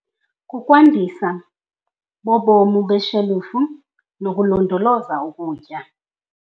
Kukwandisa bobomu beshelufu nokulondoloza ukutya.